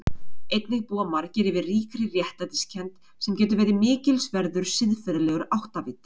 Einnig búa margir yfir ríkri réttlætiskennd sem getur verið mikilsverður siðferðilegur áttaviti.